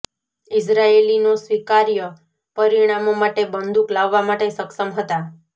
ઇઝરાયેલીઓ સ્વીકાર્ય પરિમાણો માટે બંદૂક લાવવા માટે સક્ષમ હતા